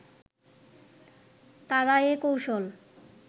তারা এ কৌশল